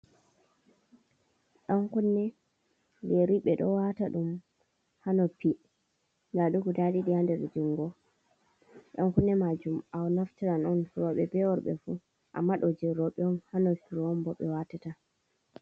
Ɗan kunne, yeri. Ɓe ɗo waata ɗum haa noppi. Nda ɗi guda ɗiɗi haa nder jungo. Ɗan kunne majum a naftiran on, rowɓe be worɓe fu, amma ɗo jei rowɓe on. Haa nofuru on bo ɓe waata ta.